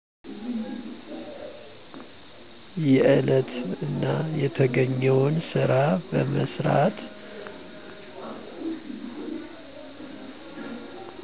የለት እና የተገኘውን ስራ በመስራት